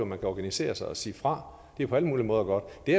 man kan organisere sig og sige fra det er jo på alle mulige måder godt det